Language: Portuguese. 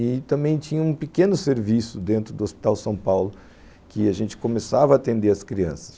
E também tinha um pequeno serviço dentro do Hospital São Paulo, que a gente começava a atender as crianças.